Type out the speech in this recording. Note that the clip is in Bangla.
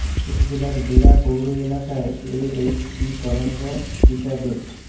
উপজেলার বেড়া পৌর এলাকার এ এইচ সি তরঙ্গ প্রিক্যাডেট